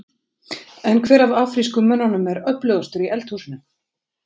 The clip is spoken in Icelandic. En hver af afrísku mönnunum er öflugastur í eldhúsinu?